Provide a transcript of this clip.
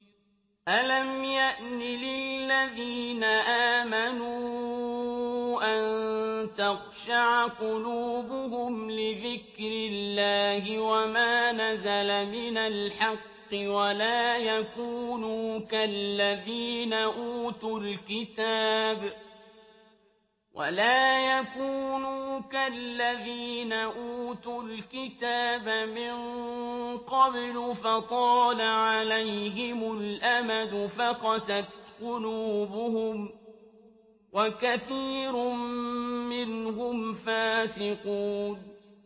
۞ أَلَمْ يَأْنِ لِلَّذِينَ آمَنُوا أَن تَخْشَعَ قُلُوبُهُمْ لِذِكْرِ اللَّهِ وَمَا نَزَلَ مِنَ الْحَقِّ وَلَا يَكُونُوا كَالَّذِينَ أُوتُوا الْكِتَابَ مِن قَبْلُ فَطَالَ عَلَيْهِمُ الْأَمَدُ فَقَسَتْ قُلُوبُهُمْ ۖ وَكَثِيرٌ مِّنْهُمْ فَاسِقُونَ